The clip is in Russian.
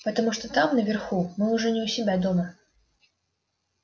потому что там наверху мы уже не у себя дома